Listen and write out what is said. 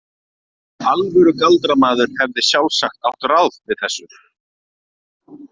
Alvöru galdramaður hefði sjálfsagt átt ráð við þessu.